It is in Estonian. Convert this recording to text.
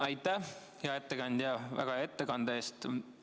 Aitäh, hea ettekandja, väga hea ettekande eest!